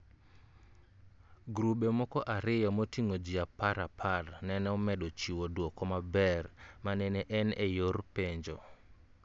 Grube moko ariyo moting'o ji a par apar nene omedo chiwo dwoko maber ma nene en e yor penjo